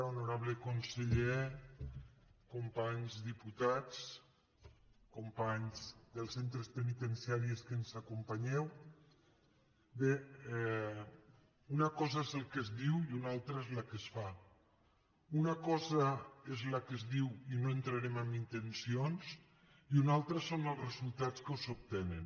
honorable conseller companys diputats companys dels centres penitenciaris que ens acompanyeu bé una cosa és el que es diu i una altra és el que es fa una cosa és el que es diu i no entrarem en intencions i una altra són els resultats que s’obtenen